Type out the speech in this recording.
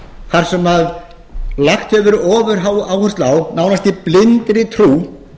þar sem lögð hefur verið ofuráhersla á að nánast í blindri trú